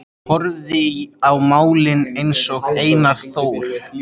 Ég horfði á málin einsog Einar Þór.